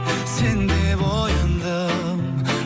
сен деп ояндым